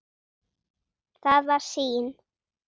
Það var sýn.